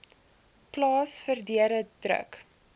plaas verdere druk